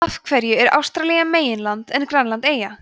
af hverju er ástralía meginland en grænland eyja